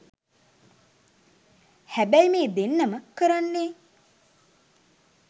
හැබැයි මේ දෙන්නම කරන්නේ